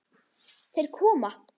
Þeir koma!